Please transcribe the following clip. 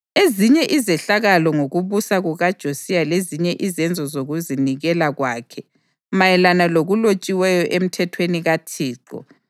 Ezinye izehlakalo ngokubusa kukaJosiya lezinye izenzo zokuzinikela kwakhe, mayelana lokulotshiweyo eMthethweni kaThixo